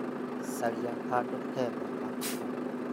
Caria handũ hega ha kũhurũka.